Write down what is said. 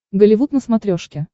голливуд на смотрешке